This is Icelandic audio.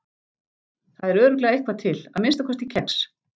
Það er örugglega eitthvað til, að minnsta kosti kex.